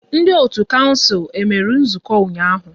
Ndị otu kouncil e mere nzukọ ụnyaahụ?